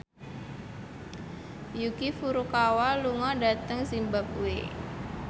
Yuki Furukawa lunga dhateng zimbabwe